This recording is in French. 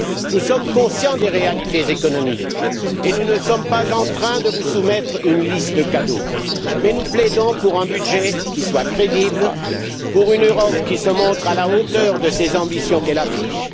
nous sommes conscients des réalités économiques et nous ne sommes pas en train de vous soumettre une liste de cadeaux, mais nous plaidons pour un budget qui soit crédible, pour une Europe qui se montre à la hauteur des ambitions qu'elle affiche.